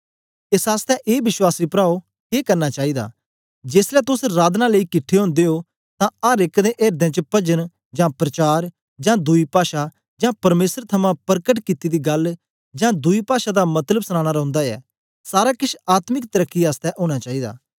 एस आसतै ए विश्वासी प्राओ के करना चाईदा जेसलै तोस राधनां लेई किट्ठे ओदे ओ तां अर एक दे एर्दें च पजन जां प्रचार जां दुई पाषा जां परमेसर थमां परकट कित्ती दी गल्ल जां दुई पाषा दा मतलब सनाना रौंदा ऐ सारा केछ आत्मिक तरकी आसतै ओना चाईदा